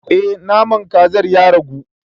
Eh naman kazar ya ragu.